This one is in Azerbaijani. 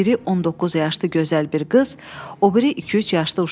Biri 19 yaşlı gözəl bir qız, o biri iki-üç yaşlı uşaq.